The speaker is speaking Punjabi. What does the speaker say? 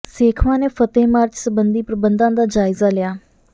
ਸੇਖਵਾਂ ਨੇ ਫਤਹਿ ਮਾਰਚ ਸਬੰਧੀ ਪ੍ਰਬੰਧਾਂ ਦਾ ਜਾਇਜ਼ਾ ਲਿਆ